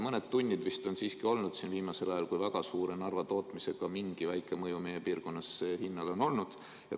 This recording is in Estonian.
Mõned tunnid vist on siiski olnud viimasel ajal, kui väga suure tootmisega Narval mingi väike mõju meie piirkonnas hinnale on olnud.